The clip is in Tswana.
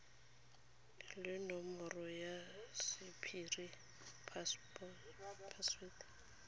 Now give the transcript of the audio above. le nomoro ya sephiri password